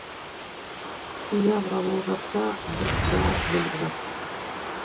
иә бірақ ол жақта біз бәрін біліп жаттық